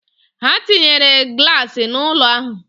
Ha tinyere glaasị n'ụlọ ahụ